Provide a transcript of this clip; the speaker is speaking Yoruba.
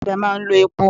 Ọ̀kadà máa ń lo epo.